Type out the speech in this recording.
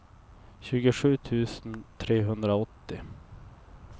tjugosju tusen trehundraåttio